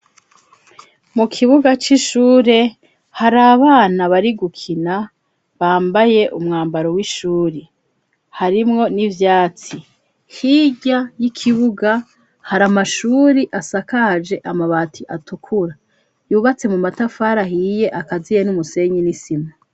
Mukibuga c'ishure hari abana bari gukina bambaye umwambaro w'ishuri harimwo n'ivyatsi hirya y'ikibuga hari amashuri asakaje amabati atukura yubatse mu matafari ahiye akaziye n'umusenyi n'isima.